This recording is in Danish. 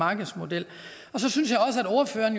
markedsmodel ordføreren